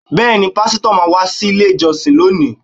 Bẹẹni pásítọ̀ máa wá sile ìjọsìn lónìí